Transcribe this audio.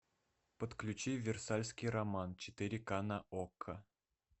подключи версальский роман четыре ка на окко